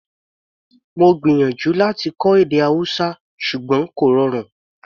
Mo gbìyànjú láti kọ́ èdè Hausa ṣùgbọ́n kò rọrùn